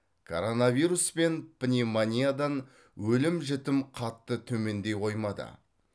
коронавирус пен пневмониядан өлім жітім қатты төмендей қоймады